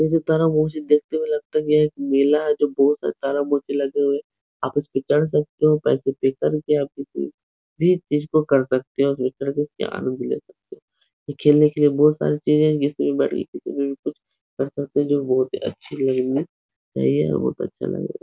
यह सितारा देखते हुए लगता है कि एक मेला है जो सितारा लगे हुए। आप इसपे चढ़ सकते हो भी इस चीज को कर सकते हो। इसके आनंद ले सकते हो। खेलने के लिए बोहोत सारी चीजें हैं। बोहोत ही अच्छी लग रही है। यही है बहुत अच्छा लगा --